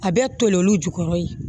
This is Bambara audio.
A bɛ toli olu jukɔrɔ ye